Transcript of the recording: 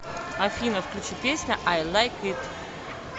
афина включи песня ай лайк ит